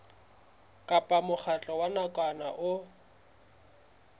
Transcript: kapa mokgatlo wa nakwana o